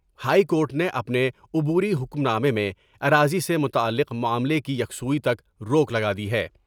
High court نے اپنے عبوری حکم نامے میں اراضی سے متعلق معاملے کی یکسوئی تک روک لگادی ہے ۔